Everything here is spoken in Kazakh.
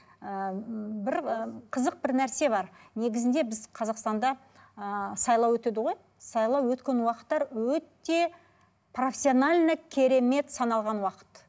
ыыы бір ы қызық бір нәрсе бар негізінде біз қазақстанда ыыы сайлау өтеді ғой сайлау өткен уақыттар өте профессионально керемет саналған уақыт